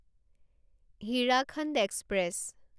Hirakhand express